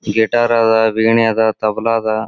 Guitar ಅದ್ ವೀಣೆ ಅದ್ ತಬಲಾ ಅದ್.